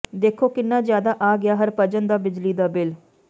ਦੇਖੋ ਕਿੰਨਾ ਜਿਆਦਾ ਆ ਗਿਆ ਹਰਭਜਨ ਦਾ ਬਿਜਲੀ ਦਾ ਬਿੱਲ